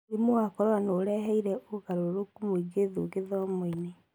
Mũrimũ wa Corona nĩ ũreheire ũgarũrũku mũingĩ thu gĩthomo-inĩ.